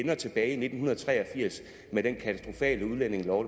var tilbage i nitten tre og firs med den katastrofale udlændingelov